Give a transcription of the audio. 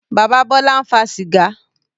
Bàbá Bọ́lá ń fa sìgá.